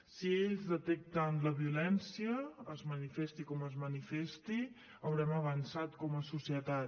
si ells detecten la violència es manifesti com es manifesti haurem avançat com a societat